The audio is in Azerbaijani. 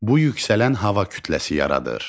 Bu yüksələn hava kütləsi yaradır.